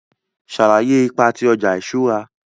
Sàlàyé ipa ti ọja iṣura.